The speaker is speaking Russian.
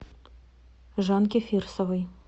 жанке фирсовой